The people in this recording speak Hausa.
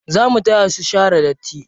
Zo mu taya su share datti.